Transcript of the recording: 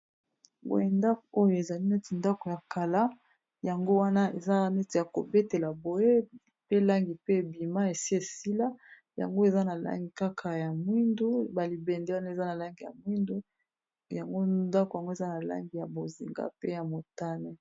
boye ndako oyo ezali neti ndako ya kala yango wana eza neti ya kobetela boye pe langi pe ebima esi sila yango eza na langi kaka ya mwindu balibende wana eza na langi ya mwindu yango ndako yango eza na langi ya bozinga pe ya motane